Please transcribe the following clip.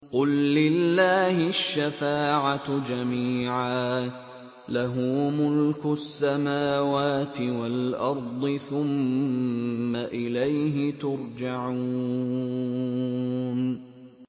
قُل لِّلَّهِ الشَّفَاعَةُ جَمِيعًا ۖ لَّهُ مُلْكُ السَّمَاوَاتِ وَالْأَرْضِ ۖ ثُمَّ إِلَيْهِ تُرْجَعُونَ